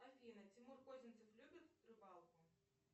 афина тимур козинцев любит рыбалку